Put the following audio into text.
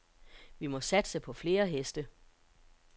Vi må satse på flere heste.